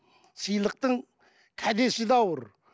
сыйлықтың кәдесі де ауыр